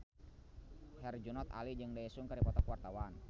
Herjunot Ali jeung Daesung keur dipoto ku wartawan